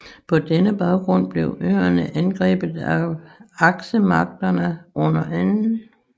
På denne baggrund blev øerne angrebet af Aksemagterne under 2